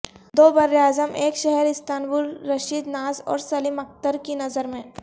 دوبراعظم ایک شہر استنبول رشید ناز اور سلیم اخترکی نظر میں